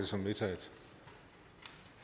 som vedtaget